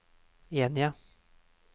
enige